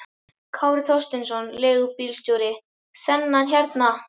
Kári Þorsteinsson, leigubílstjóri: Þennan hérna?